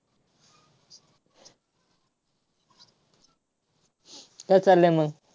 काय चाललंय मंग?